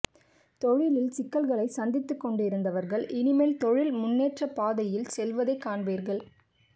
தொழிலில் சிக்கல்களை சந்தித்துக் கொண்டிருந்த வர்கள் இனிமேல் தொழில் முன்னேற்றப் பாதையில் செல்வதைக் காண்பீர்கள்